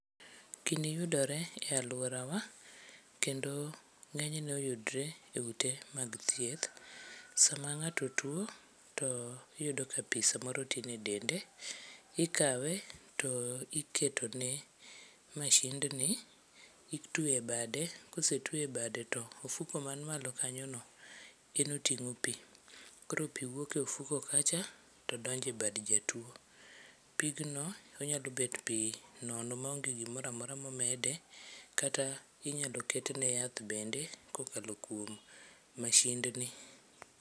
Gini yudore e aluorawa kendo ng'enyne oyudore e ute thieth. Sama ngato tuo to iyudo ka samoro pii samoro tin e dende, ikawe to iketo ne masind ni, itwe e bade, kosetwe e bade to mfuko man malo kanyo no gino otingo pii koro pii wuok e ofuko kacha to donjo e bad jatuo. Pigno nyalo bet pii nono maonge gimoro amora momede kata inyalo ketne yath bend ekokalo kuom mashind ni